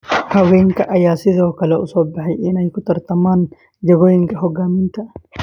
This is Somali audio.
Haweenka ayaa sidoo kale u soo baxay inay u tartamaan jagooyinka hoggaaminta.